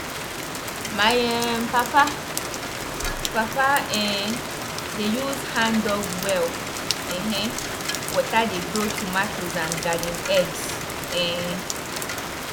the good things wey dey inside dey allow breeze allow breeze to waka well that one dey good for the plant root to grow well.